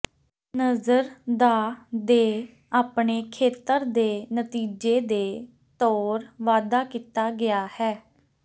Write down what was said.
ਨਜ਼ਰ ਦਾ ਦੇ ਆਪਣੇ ਖੇਤਰ ਦੇ ਨਤੀਜੇ ਦੇ ਤੌਰ ਵਾਧਾ ਕੀਤਾ ਗਿਆ ਹੈ